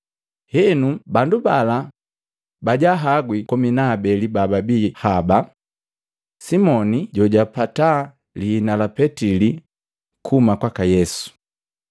Henu bandu bala bajahagwi komi na habeli babii haba, Simoni jojapataa liina la Petili kuhuma kwaka Yesu,